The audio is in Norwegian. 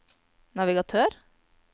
navigatør